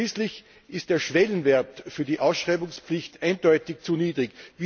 Schließlich ist der Schwellenwert für die Ausschreibungspflicht eindeutig zu niedrig.